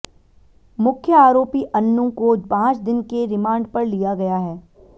मुख्य आरोपी अन्नू को पांच दिन के रिमांड पर लिया गया है